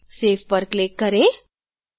save पर click करें